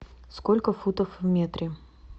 сколько футов в метре